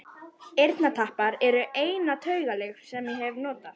Eyrnatappar eru eina taugalyf sem ég hef notað.